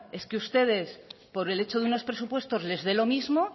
es que ustedes por el hecho de unos presupuestos les de lo mismo